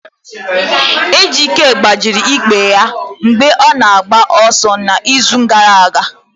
Ejike gbajiri ikpere ya mgbe ọ na-agba ọsọ n'izu gara aga.